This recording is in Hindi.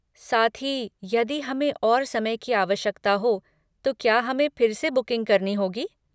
साथ ही, यदि हमें और समय की आवश्यकता हो तो क्या हमें फिर से बुकिंग करनी होगी?